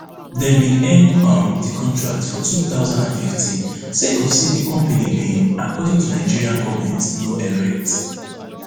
dem bin end um di contract for two thousand and fifteen sake of say di company bin according to di nigerian goment no erect